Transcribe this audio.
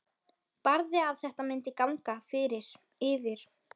Barði að þetta myndi ganga yfir.